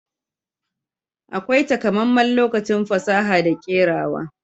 Akwai takamaiman lokacin fasaha da kerawa.